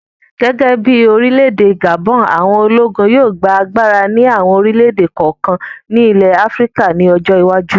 Gẹ́gẹ́ bí orílẹ̀-èdè Gabon, àwọn ológun yóò gba agbára ní àwọn orílẹ̀-èdè kọ̀ọ̀kan ní ilẹ̀ Áfíríkà ní ọjọ́ iwájú